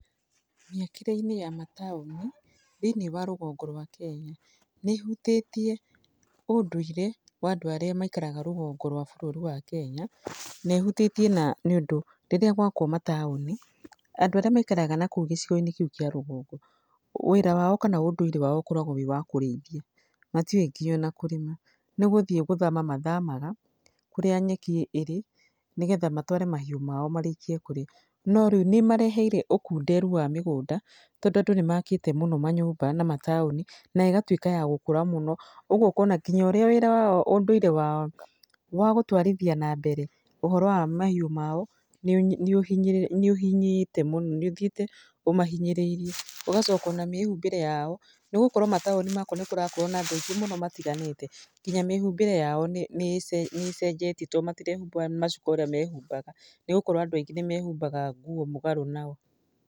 Mĩakĩre-inĩ ya mataũni, thĩiniĩ wa rũgongo rwa Kenya, nĩ ĩhutĩtie ũndũire wa andũ arĩa maikaraga rũgongo rwa bũrũri wa Kenya. Na ĩhutĩtie na nĩ ũndũ rĩrĩa gwakwo mataũni, andũ arĩa maikaraga na kũu gĩcigo-inĩ kĩu kĩa rũgongo, wĩra wao kana ũndũire wao ũkoragwo wĩ wa kũrĩithia. Matiũĩ nginya ona kũrĩma. Nĩ gũthiĩ gũthama mathamaga, kũrĩa nyeki ĩrĩ, nĩgetha matware mahiũ mao marĩkie kũrĩa. No rĩu nĩ ĩmareheire ũkunderu wa mĩgũnda, tondũ andũ nĩ makĩte mũno manyũmba na mataũni, na ĩgatuĩka ya gũkũra mũno. Ũguo ũkona nginya ũrĩa wĩra wao ũndũire wao, wa gũtwarithia na mbere ũhoro wa mahiũ mao, nĩ nĩ nĩ ũhinyĩte mũno. Nĩ ũthiĩte ũmahinyĩrĩirie. Ũgacoka ona mĩhumbĩra yao, nĩ gũkoro mataũni makwo nĩ kũrakorwo na andũ aingĩ mũno matiganĩte. Nginya mĩhumbĩre yao nĩ nĩ nĩ ĩcenjetie to matirehumba macuka ũrĩa mehumbaga, nĩ gũkorwo andũ aingĩ nĩ mehumbaga nguo mũgarũ nao.